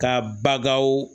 Ka bagaw